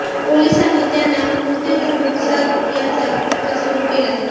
पोलिसांनी त्यांना नोटीस धाडून साद यांचा तपास सुरू केलाय